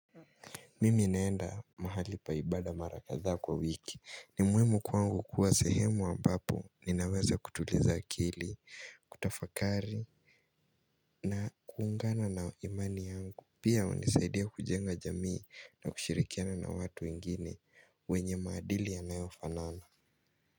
Mimi naenda mahali pa ibada mara kadhaa kwa wiki. Ni muhimu kwangu kuwa sehemu ambapo ninaweza kutuliza akili, kutafakari na kuungana na imani yangu. Pia hunisaidia kujenga jamii na kushirikiana na watu wengine wenye maadili yanayofanana.